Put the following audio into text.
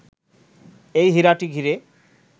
এই হীরাটি ঘিরে